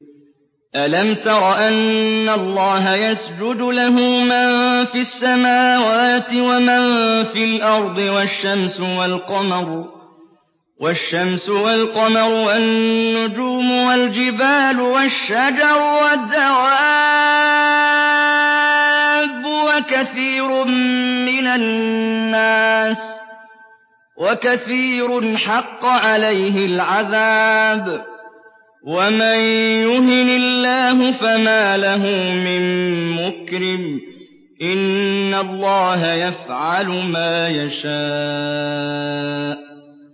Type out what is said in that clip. أَلَمْ تَرَ أَنَّ اللَّهَ يَسْجُدُ لَهُ مَن فِي السَّمَاوَاتِ وَمَن فِي الْأَرْضِ وَالشَّمْسُ وَالْقَمَرُ وَالنُّجُومُ وَالْجِبَالُ وَالشَّجَرُ وَالدَّوَابُّ وَكَثِيرٌ مِّنَ النَّاسِ ۖ وَكَثِيرٌ حَقَّ عَلَيْهِ الْعَذَابُ ۗ وَمَن يُهِنِ اللَّهُ فَمَا لَهُ مِن مُّكْرِمٍ ۚ إِنَّ اللَّهَ يَفْعَلُ مَا يَشَاءُ ۩